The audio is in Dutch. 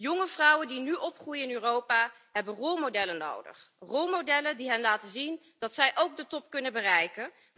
Jonge vrouwen die nu opgroeien in Europa hebben rolmodellen nodig, rolmodellen die hen laten zien dat zij ook de top kunnen bereiken.